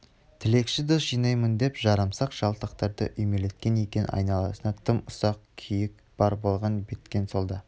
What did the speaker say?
тілекші дос жинаймын деп жарамсақ жалтақтарды үймелеткен екен айналасына тым ұсақ күйік бар болған-бткен сол да